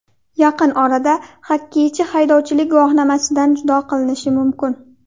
Yaqin orada xokkeychi haydovchilik guvohnomasidan judo qilinishi mumkin.